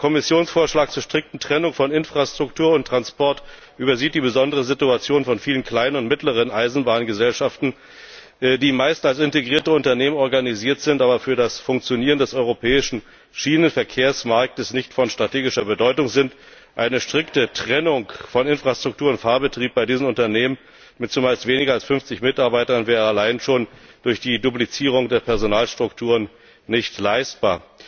Der Kommissionsvorschlag zur strikten Trennung von Infrastruktur und Transport übersieht die besondere Situation von vielen kleinen und mittleren Eisenbahngesellschaften, die meist als integrierte Unternehmen organisiert sind, aber für das Funktionieren des europäischen Schienenverkehrsmarktes nicht von strategischer Bedeutung sind. Eine strikte Trennung von Infrastruktur und Fahrbetrieb bei diesen Unternehmen mit zumeist weniger als 50 Mitarbeitern wäre allein schon durch die Duplizierung der Personalstrukturen nicht leistbar.